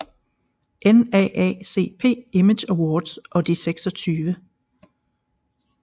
NAACP Image Awards og de 26